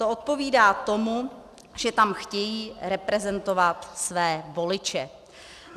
To odpovídá tomu, že tam chtějí reprezentovat své voliče.